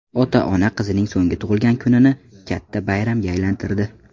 Ota-ona qizining so‘nggi tug‘ilgan kunini katta bayramga aylantirdi.